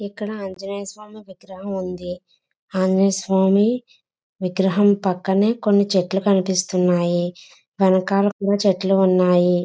ఇక్కడ ఆంజనేయస్వామి విగ్రహం ఉంది. ఆంజనేయ స్వామి విగ్రహం పక్కనే కొన్ని చెట్లు కనిపిస్తున్నాయి. వెనకాల కూడా చెట్లు ఉన్నాయి.